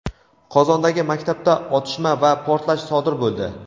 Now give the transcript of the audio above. Qozondagi maktabda otishma va portlash sodir bo‘ldi.